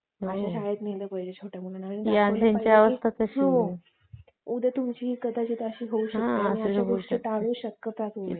शाळेत नेलं पाहिजे लहान मुलांना उद्या तुमची कदाचित अशी अवस्था होऊ शकते अशा गोष्टी तुम्ही टाळू शकता